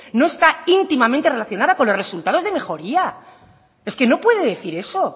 no está íntimamente relacionada con los resultados de mejoría es que no puede decir eso